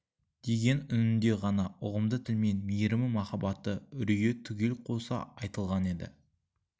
деген үнінде ғана ұғымды тілмен мейірімі махаббаты үрейі түгел қоса айтылған еді